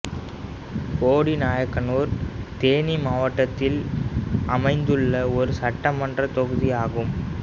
போடிநாயக்கனூர் தேனி மாவட்டத்தில் அமைந்துள்ள ஒரு சட்டமன்றத் தொகுதி ஆகும்